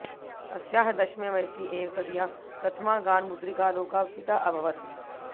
अस्याः दशमे वयसि एव तदीया प्रथमा गानमुद्रिका लोकार्पिता अभवत्